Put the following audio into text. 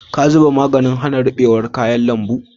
Ka zuba maganin hana ruɓewar kayan lambu?